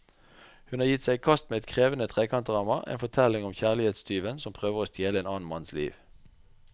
Hun har gitt seg i kast med et krevende trekantdrama, en fortelling om kjærlighetstyven som prøver å stjele en annen manns liv.